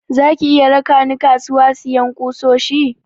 Zaki iya raka ni kasuwa siyan kusoshi?